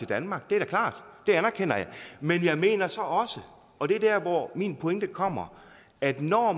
danmark det er da klart det anerkender jeg men jeg mener så også og det er der hvor min pointe kommer at når